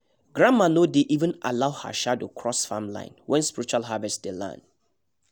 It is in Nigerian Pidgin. grandma no dey even allow her shadow cross farm line when spiritual harvest day land